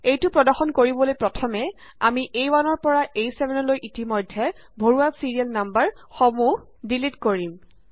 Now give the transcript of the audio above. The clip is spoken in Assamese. এইটো প্ৰদৰ্শন কৰিবলৈ প্ৰথমে আমি আ1 পৰা A7 লৈ ইতিমধ্যে ভৰোৱা ছিৰিয়েল নাম্বাৰ সমূহ ডিলিট কৰিম